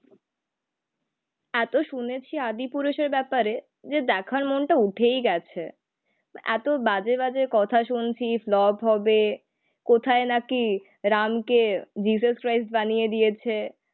এতো শুনেছি আদি পুরুষের ব্যাপারে যে দেখার মনটা উঠেই গেছে. এত বাজে বাজে কথা শুনছি ফ্লপ হবে. কোথায় নাকি রামকে জিসাস ক্রাইস বানিয়ে দিয়েছে.